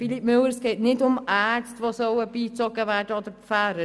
Philippe Müller – es geht nicht um Ärzte, die beigezogen werden sollen oder um Pfarrer.